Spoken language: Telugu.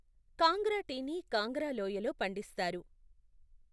కాంగ్రా టీని కాంగ్రా లోయలో పండిస్తారు.